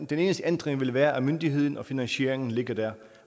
den eneste ændring vil være at myndigheden og finansieringen ligger der